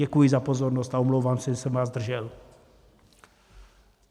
Děkuji za pozornost a omlouvám se, že jsem vás zdržel.